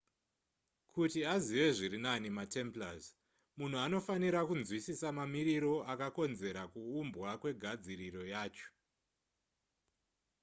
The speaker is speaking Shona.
kuti azive zviri nani matemplars munhu anofanira kunzwisisa mamiriro akakonzera kuumbwa kwegadziriro yacho